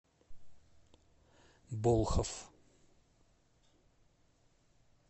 болхов